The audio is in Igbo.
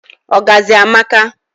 ọgazị amaka